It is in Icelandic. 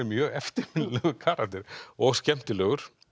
mjög eftirminnilegur karakter og skemmtilegur